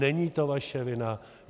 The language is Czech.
Není to naše vina.